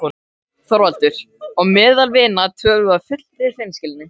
ÞORVALDUR: Og meðal vina tölum við af fullri hreinskilni.